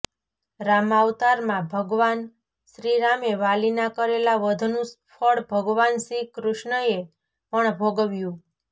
રામાવતારમાં ભગવાન શ્રીરામે વાલીના કરેલા વધનું ફળ ભગવાન શ્રીકૃષ્ણએ પણ ભોગવ્યું